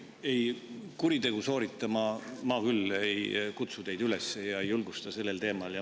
Ei, kuritegu sooritama ma küll teid üles ei kutsu ega julgusta sellel teemal.